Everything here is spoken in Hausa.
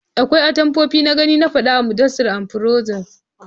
Akwai atamfofi na gani na fada a Mudassair and Biroda